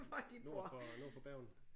Nord for nord for Bergen